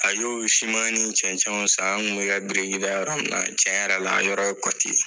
A y'o siman ni cɛncɛnw san an tun bɛ ka biriki da yɔrɔ min na , tiɲɛ yɛrɛ la , yɔrɔ ye kɔti ye.